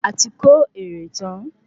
Ati kó èrè tán